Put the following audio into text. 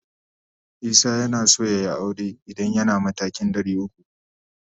Isah yanaso yayi aure idan yana matakin 300.